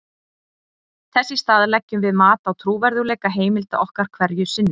þess í stað leggjum við mat á trúverðugleika heimilda okkar hverju sinni